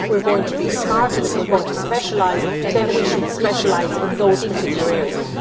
And if we are going to be smart and if we are going to specialise then we should specialise in those particular areas'.